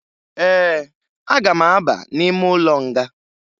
Ee, aga m aba n'ime ụlọ nga